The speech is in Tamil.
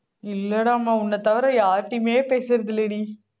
இல்லடாம்மா உன்னைத் தவிர யார்கிட்டயுமே பேசுறது இல்லைடி